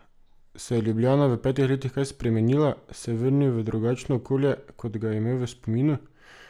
Se je Ljubljana v petih letih kaj spremenila, se je vrnil v drugačno okolje, kot ga je imel v spominu?